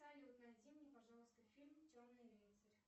салют найди мне пожалуйста фильм черный рыцарь